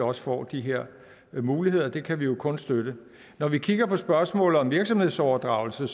også får de her muligheder det kan vi kun støtte når vi kigger på spørgsmålet om virksomhedsoverdragelse